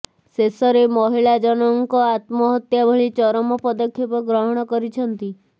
ଶେଷରେ ମହିଳା ଜଣଙ୍କ ଆତ୍ମହତ୍ୟା ଭଳି ଚରମ ପଦକ୍ଷେପ ଗ୍ରହଣ କରିଛନ୍ତି